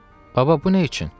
Baba, bu nə üçün?